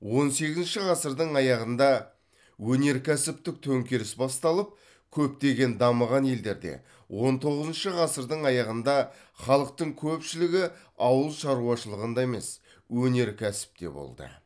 он сегізінші ғасырдың аяғында өнеркәсіптік төңкеріс басталып көптеген дамыған елдерде он тоғызыншы ғасырдың аяғында халықтың көпшілігі ауыл шаруашылығында емес өнеркәсіпте болды